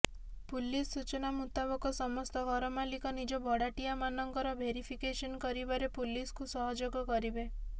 police ସୂଚନା ମୁତାବକ ସମସ୍ତ ଘରମାଲିକ ନିଜ ଭଡାଟିଆମାନଙ୍କର ଭେରିଫିକେସନ କରିବାରେ ପୁଲିସକୁ ସହଯୋଗ କରିବେ